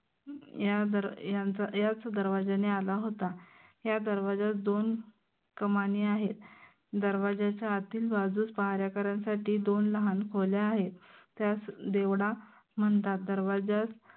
याच दरवाज्याने आला होता. ह्या दरवाज्यास दोन कमानी आहेत. दरवाज्याच्या आतील बाजूस पहारेकर्यांसाठी दोन लाहान खोल्या आहेत. त्यास देवडा म्हनतात. दरवाज्यास